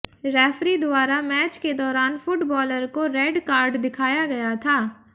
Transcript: referee द्वारा match के दौरान फुटबॉलर को रेड कार्ड दिखाया गया था